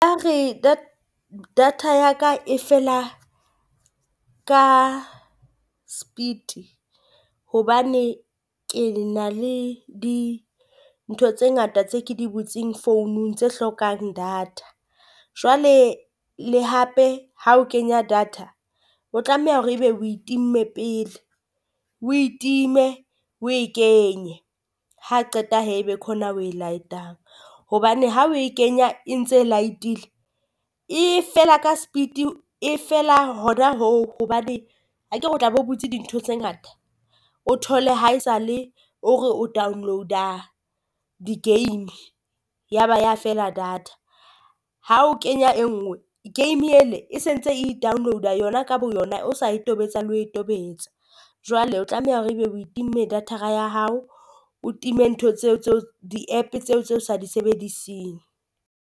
Data ya ka e fela ka speed hobane ke na le di ntho tse ngata tse ke di butseng founung tse hlokang data. Jwale le hape ha o kenya data, o tlameha hore ebe o itimme pele o e time o e kenye. ha qeta hee e be ho na o e light-ang, hobane ha o e kenya e ntse light-ile e fela ka speed e fela hona hoo hobane akere o tla be o butse dintho tse ngata. O thole haesale o re o download-a di game ya ba ya fela data, ha o kenya e nngwe game e le e sentse e i-download-a yona ka boyona o sa e tobetsa le ho e tobetsa. Jwale o tlameha hore ebe o e timme data-ra ya hao o time ntho tseo tseo di app tseo tse o sa di sebediseng.